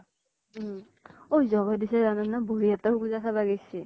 হম । ঐ জগদ্বীশে জান নে বৰ্হি হাতৰ পুজা চাব গৈছি ?